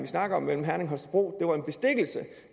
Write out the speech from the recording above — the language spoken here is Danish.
snakker om mellem herning og holstebro